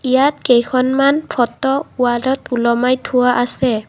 ইয়াত কেইখনমান ফটো ৱালত ওলমাই থোৱা আছে।